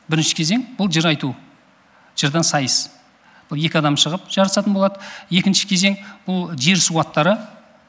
бірінші кезең бұл жыр айту жырдан сайыс бұл екі дам шығып жарысатын болады екінші кезең бұл жер су аттары